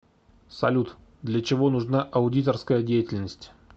салют для чего нужна аудиторская деятельность